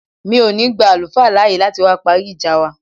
Mi ò ní gba àlùfáà láàyè láti wá parí ìjà wa